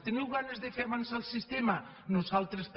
teniu ganes de fer avançar el sistema nosaltres també